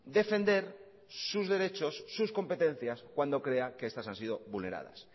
defender sus derechos sus competencias cuando crea que estas han sido vulneradas